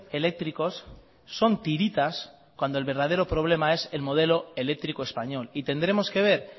eléctricos son tiritas cuando el verdadero problema es el modelo eléctrico español y tendremos que ver